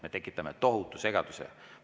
Me tekitaksime tohutu segaduse.